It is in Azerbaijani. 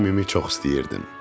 Əmimi çox istəyirdim.